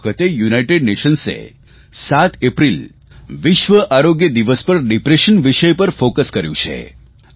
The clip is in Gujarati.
આ વખતે યુનાઇટેડ નેશન્સે 7 એપ્રિલ વિશ્વ આરોગ્ય દિવસ પર ડિપ્રેશન વિષય પર ફોકસ કર્યું છે